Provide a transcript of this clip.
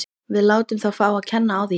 Við látum þá fá að kenna á því í nótt.